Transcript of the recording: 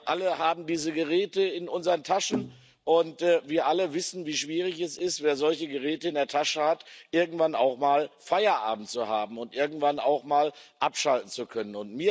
Wir alle haben diese Geräte in unseren Taschen, und wir alle wissen, wie schwierig es ist, wenn man solche Geräte in der Tasche hat, irgendwann auch mal Feierabend zu haben und irgendwann auch mal abschalten zu können.